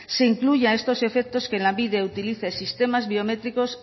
se incluya estos efectos que lanbide utilice sistemas biométricos